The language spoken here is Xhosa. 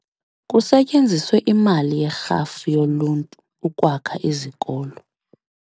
Kusetyenziswe imali yerhafu yoluntu ukwakha izikolo.